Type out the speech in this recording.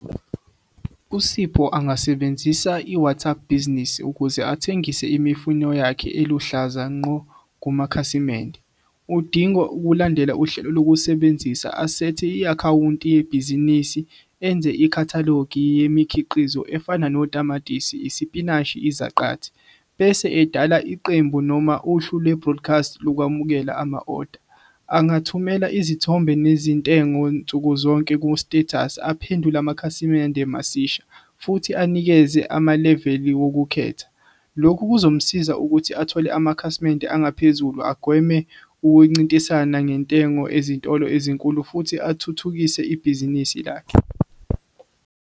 uSipho angasebenzisa i-WhatsApp Business ukuze athengise imifino yakhe eluhlaza nqo kumakhasimende. Udinga ukulandela uhlelo lokusebenzisa asethe i-akhawunti yebhizinisi enze ikhathalogi yemikhiqizo efana notamatisi, isipinashi, izaqathi. Bese edala iqembu noma uhlu le-broadcast lokwamukela ama-oda. Angathumela izithombe nezintengo nsukuzonke ku-status aphendule amakhasimende masisha futhi anikeze amaleveli wukukhetha. Lokho kuzomsiza ukuthi athole amakhasimende angaphezulu agweme ukuncintisana ngentengo ezitolo ezinkulu futhi athuthukise ibhizinisi lakhe.